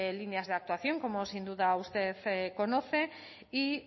líneas de actuación como sin duda usted conoce y